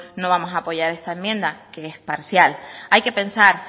no vamos a apoyar esta enmienda que es parcial hay que pensar